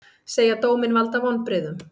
Segja dóminn valda vonbrigðum